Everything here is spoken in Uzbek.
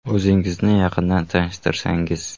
- O‘zingizni yaqindan tanishtirsangiz.